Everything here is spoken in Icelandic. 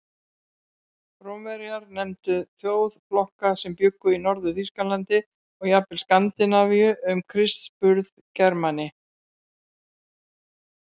Rómverjar nefndu þjóðflokka sem bjuggu í Norður-Þýskalandi og jafnvel Skandinavíu um Krists burð Germani.